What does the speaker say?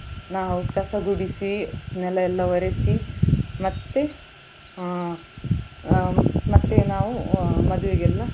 ನಾವು ಕಸಗುಡಿಸಿ ನೆಲ ಎಲ್ಲ ಒರೆಸಿ ಮತ್ತೆ ಅಹ್ ಅಹ್ ಮತ್ತೆ ನಾವು ಮದ್ವೆಗೆಲ್ಲ.